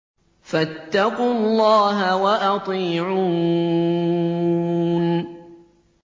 فَاتَّقُوا اللَّهَ وَأَطِيعُونِ